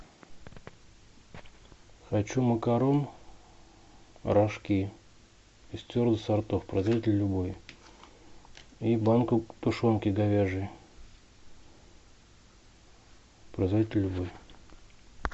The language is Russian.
хочу макарон рожки из твердых сортов производитель любой и банку тушенки говяжьей производитель любой